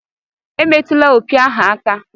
Emetụla opi ahu aka!